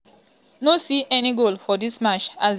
no see any goal for dis match as dia strikers dey dey push hard.